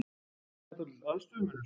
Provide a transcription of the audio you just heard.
Það er dálítill aðstöðumunur?